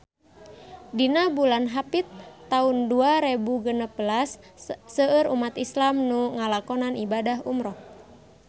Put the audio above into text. Dina bulan Hapit taun dua rebu genep belas seueur umat islam nu ngalakonan ibadah umrah